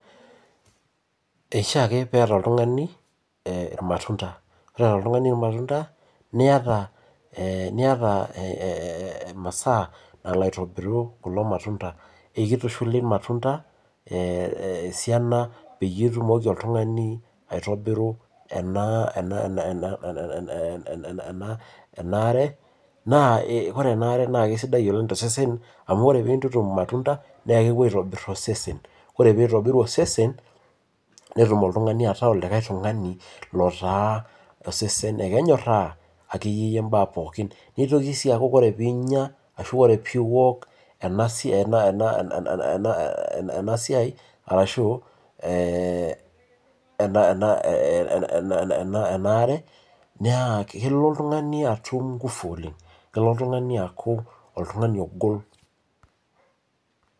eishaa ake peeta oltungani ilmatunda, ore eeta oltungani ilmatunda niata ee niata, imasaa nalo aitobiru kulo matunda, kitushuli ilmatunda esiaina peyie itumoki, oltungani aitobiru ena ,ena ena are. ore ena are naa kisidai oleng tosesen amu ore pee intutum ilmatunda, naa kepuo aitobr osesen. ore pee eitobir osesen, netum oltungani ataa olikae tungani lotaa osesen akenyoraa ekeyie imbaa pookin. nitoki sii aku ore piinyia. arashu ore pee iok ena sai arashu ee nena ena ena are niaku, naa kelo oltungani atum ngufu, kelo oltungani aaku oltungani ogol.